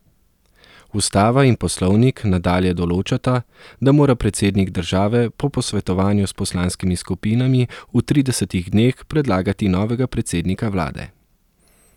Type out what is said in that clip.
Ustava in poslovnik nadalje določata, da mora predsednik države po posvetovanju s poslanskimi skupinami v tridesetih dneh predlagati novega predsednika vlade.